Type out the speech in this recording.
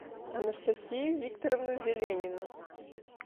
анастасию викторовну зеленину